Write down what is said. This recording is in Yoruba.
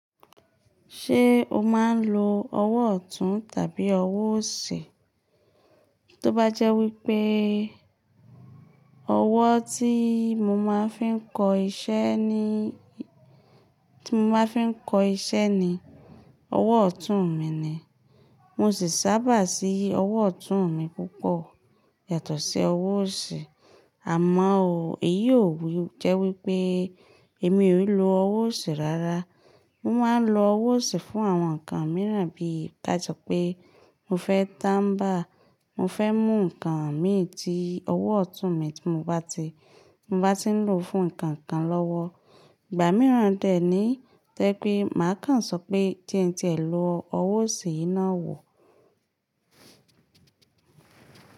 Ṣé o máa ń lo ọwọ́ ọ̀tún tàbí ọwọ́ òsì? Tó bá jẹ́ wípeé ọwọ́ tí mo máa ń fi ń kọ iṣẹ́ ni, tí mo máa ń fi ń kọ iṣẹ́ ni, ọwọ́ ọ̀tún mi ni. Mo sì sábà sí ọwọ́ ọ̀tún mi púpọ̀ yàtọ̀ sí ọwọ́ òsì. Àmọ́ ò, èyí ò jẹ́ wípé èmi ò n lo ọwọ́ òsì rárá. Mo máa ń lo ọwọ́ òsì fún àwọn nǹkan mìíràn bíi, káà so pé mo fẹ́ táǹbà, mo fẹ́ mú nǹkan mìí tí ọwọ́ ọ̀tún mi tí mo bá ti, mo bá ti ń lò fún nǹkan kan lọ́wọ́. Ìgbà mìíràn dèẹ́ ní to je pé màá kàn sọ pé tí ń tí ẹ lo ọwọ́ òsì yín náà wò.